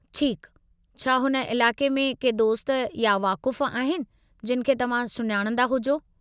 ठीकु, छा हुन इलाक़े में के दोस्त या वाक़ुफ़ु आहिनि जिनि खे तव्हां सुञाणंदा हुजो?